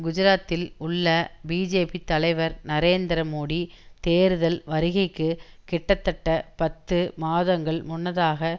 குஜராத்தில் உள்ள பிஜேபி தலைவர் நரேந்திர மோடி தேர்தல் வருகைக்கு கிட்டத்தட்ட பத்து மாதங்கள் முன்னதாக